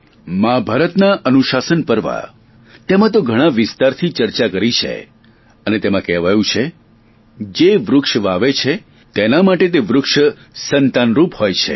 મહાભારતના અનુશાશન પર્વ તેમાં તો ઘણા વિસ્તારથી ચર્ચા કરી છે અને તેમાં કહેવાયું છે જે વૃક્ષ વાવે છે તેના માટે તે વૃક્ષ સંતાનરૂપ હોય છે